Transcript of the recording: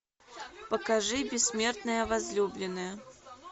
покажи бессмертная возлюбленная